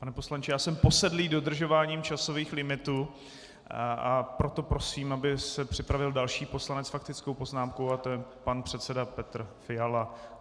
Pane poslanče, já jsem posedlý dodržováním časových limitů, proto prosím, aby se připravil další poslanec s faktickou poznámkou a to je pan předseda Petr Fiala.